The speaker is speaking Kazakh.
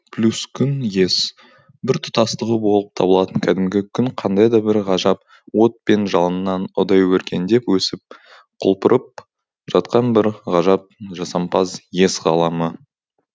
плюс күн ес біртұтастығы болып табылатын кәдімгі күн қандайда бір ғажап от пен жалыннан ұдайы өркендеп өсіп құлпырып жатқан бір ғажап жасампаз ес ғаламы